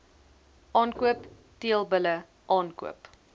aankoop teelbulle aankoop